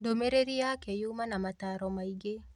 Ndũmĩrĩri yake yuma na mataro maingĩ